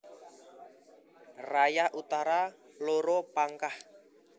Raya Utara loro Pangkah